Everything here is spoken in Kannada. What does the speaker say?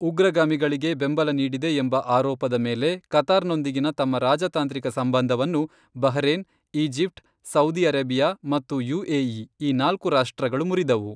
ಉಗ್ರಗಾಮಿಗಳಿಗೆ' ಬೆಂಬಲ ನೀಡಿದೆ ಎಂಬ ಆರೋಪದ ಮೇಲೆ ಕತಾರ್ನೊಂದಿಗಿನ ತಮ್ಮ ರಾಜತಾಂತ್ರಿಕ ಸಂಬಂಧವನ್ನು ಬಹ್ರೇನ್, ಈಜಿಪ್ಟ್, ಸೌದಿ ಅರೇಬಿಯಾ ಮತ್ತು ಯುಎಇ ಈ ನಾಲ್ಕು ರಾಷ್ಟ್ರಗಳು ಮುರಿದವು.